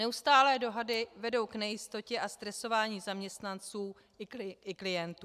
Neustálé dohady vedou k nejistotě a stresování zaměstnanců i klientů.